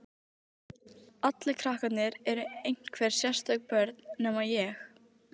Allir krakkarnir eru einhver sérstök börn, nema ég.